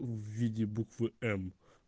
в виде буквы м